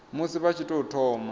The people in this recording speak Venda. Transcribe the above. musi vha tshi tou thoma